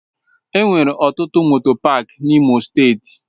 Enwere ọtụtụ moto pááki n'Imo steeti.